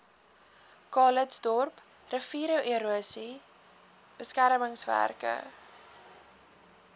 calitzdorp riviererosie beskermingswerke